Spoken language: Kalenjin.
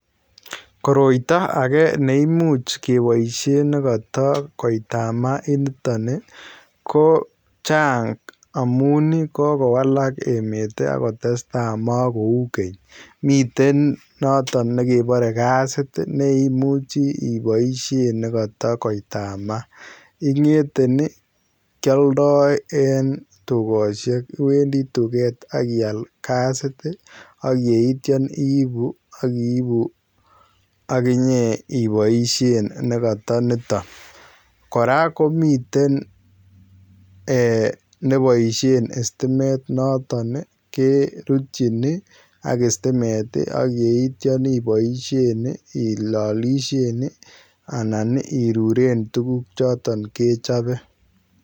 Koroitoo agei neimuuch kebaisheen nekatoi kotaimaah ko chaang amuun ii kokowalak emeet ii ago tesetai makouu keeny miten notoon nekabare gasiit ii neimuchii ibaisheen negataa koitamaah ingethe ii kiyaldai en dukosiek iwendii tugeet akiyaal gasit ii ak yeityaan ii iibuuu ak inyei ii ibaisheen negataa nitoon kora komiteen eeh nekibaisheen stimeet notoon ke rutyiin ak stimeet ak yeityaa ibaisheen ii ilalisheenb ii anan irureen tuguuk chotoon kechape.